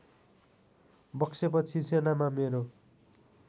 बक्सेपछि सेनामा मेरो